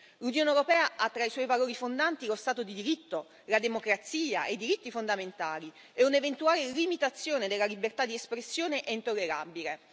L'Unione europea ha tra i suoi valori fondanti lo Stato di diritto, la democrazia e i diritti fondamentali e un'eventuale limitazione della libertà di espressione è intollerabile.